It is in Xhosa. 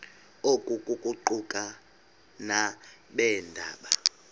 oku kuquka nabeendaba